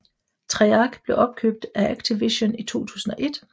Treyarch blev opkøbt af Activision i 2001